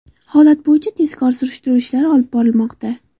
Holat bo‘yicha tezkor surishtiruv ishlari olib borilmoqda.